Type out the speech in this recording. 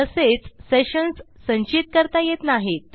तसेच सेशन्स संचित करता येत नाहीत